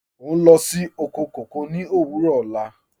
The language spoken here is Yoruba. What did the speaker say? Ọ n lọ sí oko kọkọ ni owurọ ọ̀la.